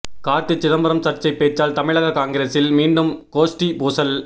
கார்த்தி சிதம்பரம் சர்ச்சை பேச்சால் தமிழக காங்கிரசில் மீண்டும் கோஷ்டி பூசல்